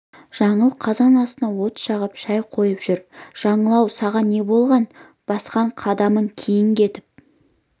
жаңыл қазан астына от жағып шай қойып жүр жаңыл-ау саған не болған басқан қадамың кейін кетіп